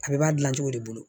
A bɛɛ b'a dilan cogo de bolo